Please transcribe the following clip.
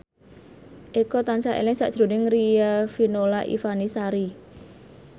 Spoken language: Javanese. Eko tansah eling sakjroning Riafinola Ifani Sari